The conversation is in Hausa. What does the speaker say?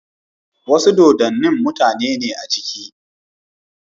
Wasu dodon, mutane ne a ciki